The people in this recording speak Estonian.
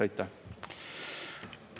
Aitäh!